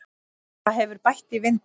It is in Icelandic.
Það hefur bætt í vindinn.